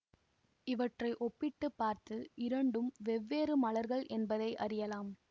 இவற்றை ஒப்பிட்டு பார்த்து இரண்டும் வெவ்வேறு மலர்கள் எனபதை அறியலாம்